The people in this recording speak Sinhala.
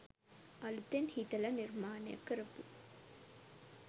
අලුතෙන් හිතල නිර්මාණය කරපු